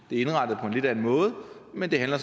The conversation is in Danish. indrettet på en lidt anden måde men det handler